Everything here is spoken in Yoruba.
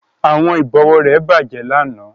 Àwọn ìbọ̀wọ́ rẹ̀ bàjẹ́ lánàá